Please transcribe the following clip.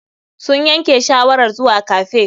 Sun yanke shawarar zuwa cafe.